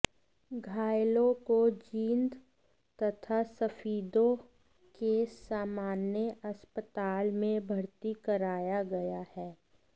घायलों को जींद तथा सफीदों के सामान्य अस्पताल में भरती कराया गया है